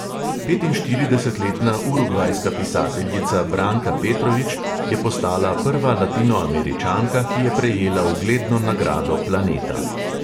Petinštiridesetletna urugvajska pisateljica branka petrovič je postala prva latinoameričanka, ki je prejela ugledno nagrado planeta.